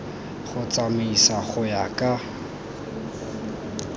go tsamaisiwa go ya ka